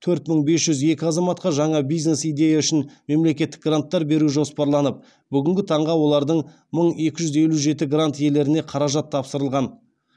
төрт мың бес жүз екі азаматқа жаңа бизнес идея үшін мемлекеттік гранттар беру жоспарланып бүгінгі таңға олардың мың екі жүз елу жеті грант иелеріне қаражат тапсырылған